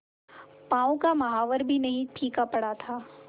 पांव का महावर पर भी नहीं फीका पड़ा था